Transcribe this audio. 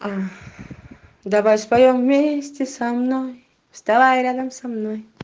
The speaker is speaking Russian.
давай споем вместе со мной вставай рядом со мной